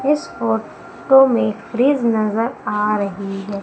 इस photo में fridge नजर आ रही है।